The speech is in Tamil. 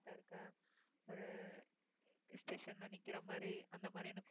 ஒரு station ல நிக்கிற மாதிரி அந்த மாதிரி எனக்கு